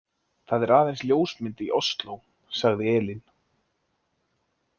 Það er aðeins ljósmynd í Osló, sagði Elín.